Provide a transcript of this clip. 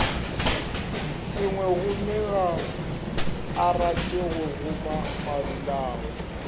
sengwegommega arate go goma marulao